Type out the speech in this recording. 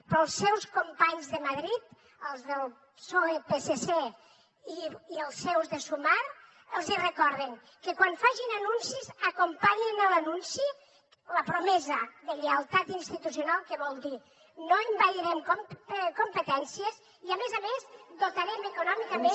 però als seus companys de madrid els del psoe psc i els seus de sumar els hi recorden que quan facin anuncis acompanyin l’anunci la promesa de lleialtat institucional que vol dir no envairem competències i a més a més dotarem econòmicament